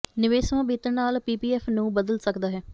ਨਿਵੇਸ਼ ਸਮਾਂ ਬੀਤਣ ਨਾਲ ਪੀਪੀਐਫ ਨੂੰ ਬਦਲ ਸਕਦਾ ਹੈ